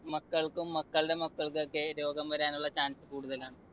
മക്കൾക്കും മക്കൾടെ മക്കൾക്കുമൊക്കെ രോഗം വരാനുള്ള chance കൂടുതലാണ്.